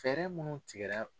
Fɛɛrɛ munnu tigɛra